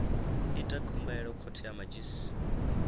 ite khumbelo khothe ya madzhisi